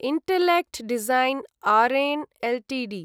intellect Design Arena Ltd